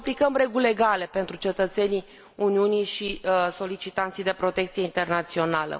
Deci aplicăm reguli egale pentru cetățenii Uniunii și solicitanții de protecție internațională.